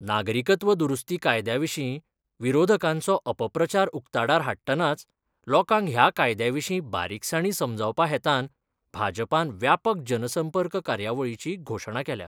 नागरिकत्व दुरुस्ती कायद्याविशी विरोधकांचो अपप्रचार उक्ताडार हाडटनाच लोकांक ह्या कायद्याविशी बारीकसाणी समजावपा हेतान भाजपान व्यापक जनसंपर्क कार्यावळीची घोषणा केल्या.